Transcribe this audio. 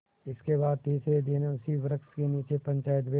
इसके बाद तीसरे दिन उसी वृक्ष के नीचे पंचायत बैठी